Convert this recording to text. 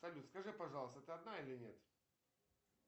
салют скажи пожалуйста ты одна или нет